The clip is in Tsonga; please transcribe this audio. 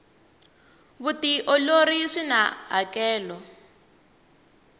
vutiolori swina hakelo